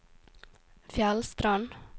Fjellstrand